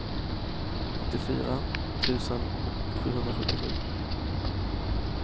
åttiofyra tusen sjuhundrasjuttiosju